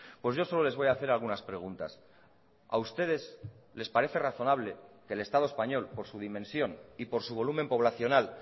pues yo solo les voy a hacer algunas preguntas a ustedes les parece razonable que el estado español por su dimensión y por su volumen poblacional